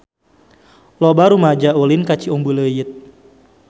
Loba rumaja ulin ka Ciumbuleuit